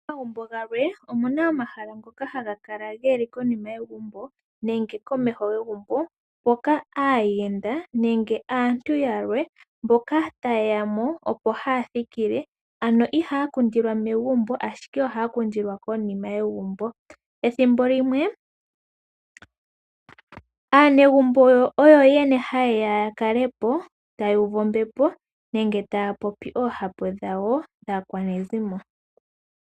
Momagumbo galwe omuna omahala ngoka haga kala geli konima yegumbo nenge konima yegumbo mpoka aayenda nenge aantu yalwe mboka taye ya mo opo haya thikile, ano ihaya popithwa megumbo ashike ohaya popithilwa konima yegumbo. Ethimbo limwe aanegumbo oyo yene haye ya, ya kale po taya uvu ombepo nenge taya popi oohapu dhawo dhaakwanezimo.